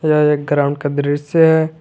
यह एक ग्राउंड का दृश्य है।